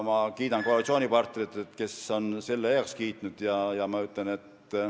Ma kiidan koalitsioonipartnereid, kes on selle heaks kiitnud.